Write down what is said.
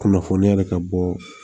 Kunnafoniya yɛrɛ ka bɔ